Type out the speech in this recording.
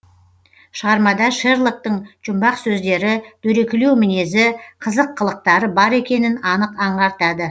шығармада шерлоктың жұмбақ сөздері дөрекілеу мінезі қызық қылықтары бар екенін анық аңғартады